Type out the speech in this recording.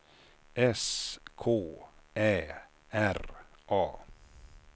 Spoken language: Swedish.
S K Ä R A